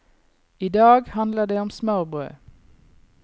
I dag handler det om smørbrød.